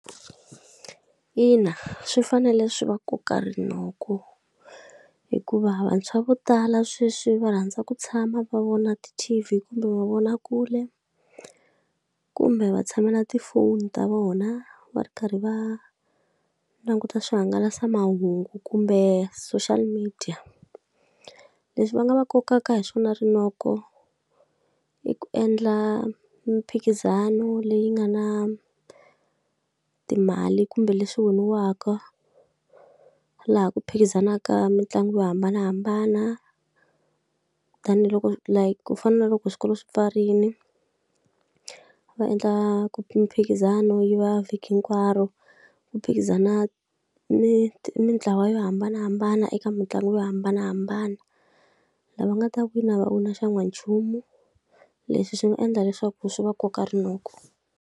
Ina, swi fanele swi va koka rinoko hikuva vantshwa vo tala sweswi va rhandza ku tshama va vona ti-T_V kumbe mavonakule, kumbe va tshamela na tifoni ta vona va ri karhi va languta swihangalasamahungu kumbe social media. Leswi va nga va kokaka hi swona rinoko i ku endla mimphikizano leyi nga na timali kumbe leswi winiwaka. Laha ku phikizanaka mitlangu yo hambanahambana, tanihiloko ku fana na loko swikolo swi pfarile, va endla mphikizano wu va vhiki hinkwaro. Ku phikizana mintlawa yo hambanahambana eka mitlangu yo hambanahambana, lava nga ta wina va xan'wanchumu. Leswi swi nga endla leswaku swi va koka rinoko.